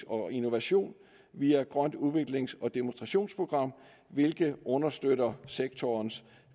og innovation via grønt udviklings og demonstrations program hvilket understøtter sektorens